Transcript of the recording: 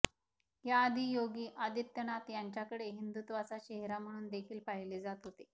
या आधी योगी आदित्यनाथ यांच्याकडे हिंदुत्वाचा चेहरा म्हणून देखील पाहिले जात होते